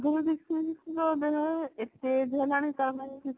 ଏତେ age ହେଲାଣି